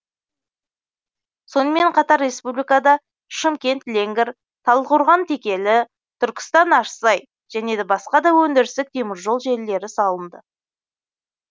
сонымен қатар республикада шымкент ленгер талдықорған текелі түркістан ащысай және басқа да өндірістік теміржол желілері салынды